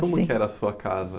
Como que era a sua casa?